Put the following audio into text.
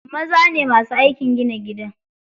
Maza ne masu aikin gina gida.